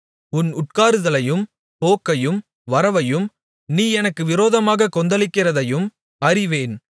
உன் உட்காருதலையும் போக்கையும் வரவையும் நீ எனக்கு விரோதமாகக் கொந்தளிக்கிறதையும் அறிவேன்